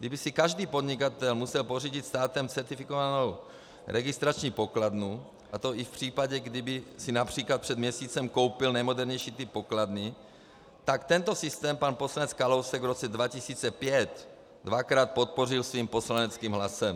Kdyby si každý podnikatel musel pořídit státem certifikovanou registrační pokladnu, a to i v případě, kdyby si například před měsícem koupil nejmodernější typ pokladny, tak tento systém pan poslanec Kalousek v roce 2005 dvakrát podpořil svým poslaneckým hlasem.